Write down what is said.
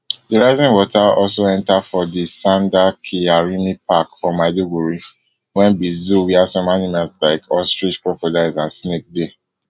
di rising water also enta for di sanda kyarimi park for maiduguri wey be zoo wia some animals like ostrich crocodiles and snakes dey